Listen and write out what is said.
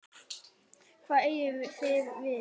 Hvað eigið þið við?